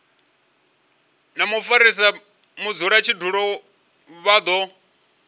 na mufarisa mudzulatshidulo vha do